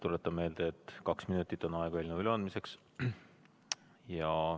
Tuletan meelde, et kaks minutit on aega eelnõu üleandmiseks.